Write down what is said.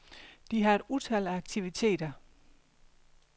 De har et utal af aktiviteter.